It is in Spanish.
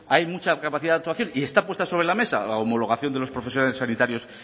hay mucha capacidad de actuación y está puesta sobre la mesa la homologación de los profesionales sanitarios